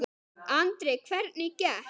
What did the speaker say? Andri: Hvernig gekk?